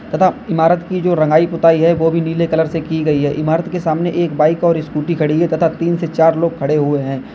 तथा इमारत की जो रंगाई पुताई है वो भी नीले कलर से की गई है इमारत के सामने एक बाइक और स्कूटी खड़ी है तथा तीन से चार लोग खड़े हुए हैं।